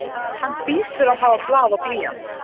Hann hlýtur að hafa blað og blýant.